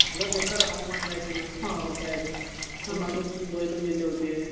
लै बेकार हवामान राहते ना पावसाळयात. मागं दोन बैलं मेले होते.